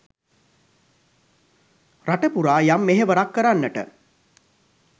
රට පුරා යම් මෙහෙවරක් කරන්නට